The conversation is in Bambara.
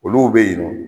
Olu bɛ yen nɔ